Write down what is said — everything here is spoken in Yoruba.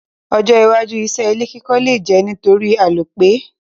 Ojó iwájú isé ilé kíkọ́ le je nítorí àlòpẹ́